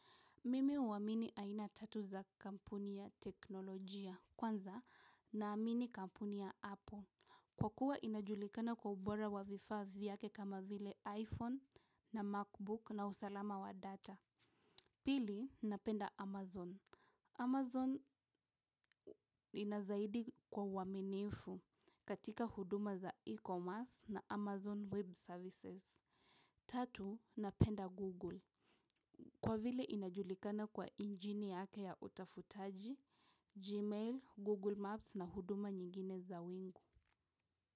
Mimi huwamini aina tatu za kampuni ya teknolojia, kwanza naamini kampuni ya Apple. Kwa kuwa inajulikana kwa ubora wa vifaa vyake kama vile iPhone na MacBook na usalama wa data. Pili, napenda Amazon. Amazon inazaidi kwa uaminifu katika huduma za e-commerce na Amazon Web Services. Tatu, napenda Google. Kwa vile inajulikana kwa injini yake ya utafutaji, Gmail, Google Maps na huduma nyingine za wingu.